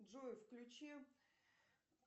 джой включи